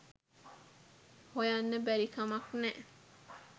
හොයන්න බැරි කමක් නෑ